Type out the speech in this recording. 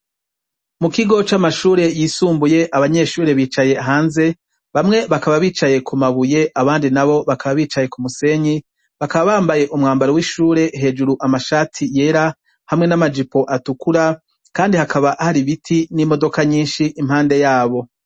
Mu kigo c' amashure yishumbuye abanyeshure bicaye hanze, bamwe bakaba bicaye ku mabuye abandi nabo bakaba bicaye ku musenyi, bakaba bambaye umwambaro w' ishure, hejuru amashati yera, hamwe n' amajipo atukura, kandi hakaba hari ibiti n' imodoka nyinshi impande yabo.